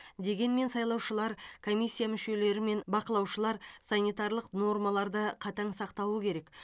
дегенмен сайлаушылар комиссия мүшелері мен бақылаушылар санитарлық нормаларды қатаң сақтауы керек